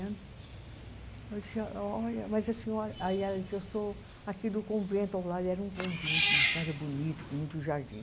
Eu disse, olha, mas a senhora, aí ela disse, eu sou aqui do convento ao lado, era um convento, uma casa bonita, com muito jardim.